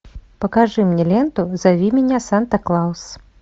покажи мне ленту зови меня санта клаус